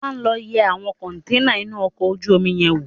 Ọlá, lọ yẹ àwọn kọntẹ́ẹ́nà inú ọkọ̀ ojú omi yẹn wò!